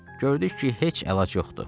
Gördük ki, heç əlac yoxdur.